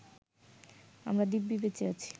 আমরা দিব্যি বেঁচে আছি